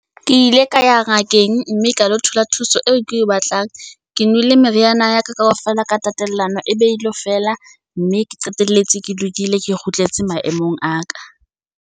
Ke ile ka ya ngakeng mme ka lo thola thuso eo ke e batlang. Ke nwele meriana ya ka kaofela ka tatellano e be e elo fela. Mme ke qeteletse ke lokile, ke kgutletse maemong a ka.